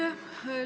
Aitäh!